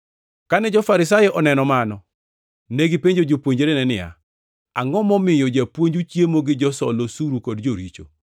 Kane jo-Farisai oneno mano, negipenjo jopuonjrene niya, “Angʼo momiyo japuonju chiemo gi josol osuru kod joricho?”